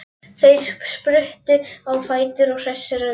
Þeir spruttu á fætur, hressir í bragði.